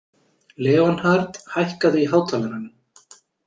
Leonhard, hækkaðu í hátalaranum.